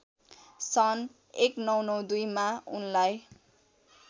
सन् १९९२ मा उनलाई